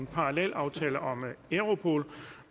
har bedt om ordet